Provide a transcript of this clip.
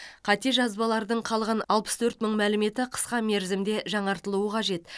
қате жазбалардың қалған алпыс төрт мың мәліметі қысқа мерзімде жаңартылуы қажет